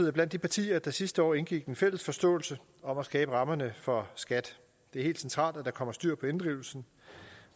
er blandt de partier der sidste år indgik en fælles forståelse om at skabe rammerne for skat det er helt centralt at der kommer styr på inddrivelsen